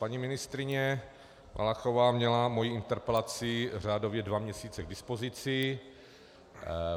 Paní ministryně Valachová měla moji interpelaci řádově dva měsíce k dispozici.